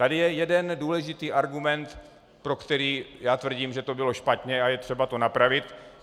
Tady je jeden důležitý argument, pro který já tvrdím, že to bylo špatně a je třeba to napravit.